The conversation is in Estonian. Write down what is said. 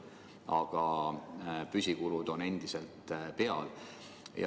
Samas püsikulud on endiselt olemas.